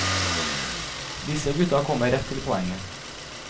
Disse gutta kommer rett til poenget.